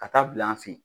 Ka taa bila an fe yen